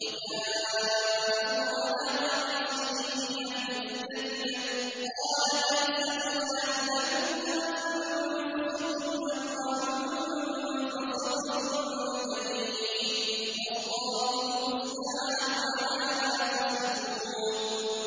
وَجَاءُوا عَلَىٰ قَمِيصِهِ بِدَمٍ كَذِبٍ ۚ قَالَ بَلْ سَوَّلَتْ لَكُمْ أَنفُسُكُمْ أَمْرًا ۖ فَصَبْرٌ جَمِيلٌ ۖ وَاللَّهُ الْمُسْتَعَانُ عَلَىٰ مَا تَصِفُونَ